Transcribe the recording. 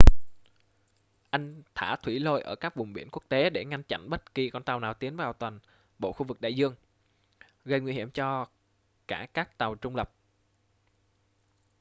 anh thả thủy lôi ở các vùng biển quốc tế để ngăn chặn bất kỳ con tàu nào tiến vào toàn bộ khu vực đại dương gây nguy hiểm cho cả các tàu trung lập